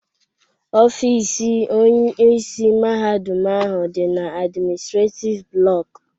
Ọfịs Onyeisi Mahadum ahụ dị na admịnịstrétif blọku